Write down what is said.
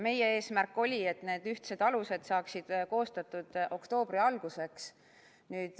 Meie eesmärk oli, et need ühtsed alused saaksid koostatud oktoobri alguseks.